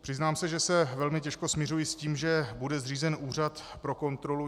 Přiznám se, že se velmi těžko smiřuji s tím, že bude zřízen úřad pro kontrolu.